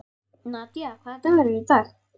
Nadia, hvaða dagur er í dag?